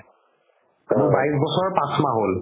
আজি বাইছ বছৰ পাচ মাহ হ'ল